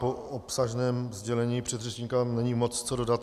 Po obsažném sdělení předřečníka není moc co dodat.